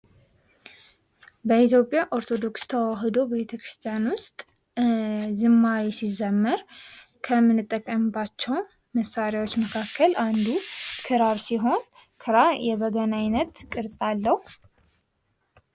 በኢትዮጵያ ኦርቶዶክስ ተዋህዶ ቤተ ክርስቲያን ውስጥ ዘመር ከምንጠቀምባቸው መሳሪያዎች መካከል አንዱ ክራር ሲሆን ክራር የበገና አይነት ቅርጸ አለው።